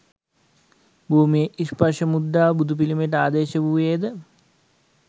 භූමි ස්පර්ශ මුද්‍රාව බුදු පිළිමයට ආදේශ වූයේද